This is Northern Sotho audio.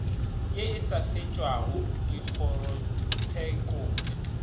ye e sa fetšwago dikgorotshekong